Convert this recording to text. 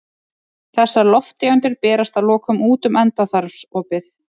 Þessar lofttegundir berast að lokum út um endaþarmsopið.